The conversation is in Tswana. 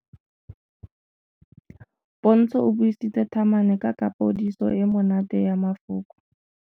Pontsho o buisitse thamane ka kapodiso e e monate ya mafoko.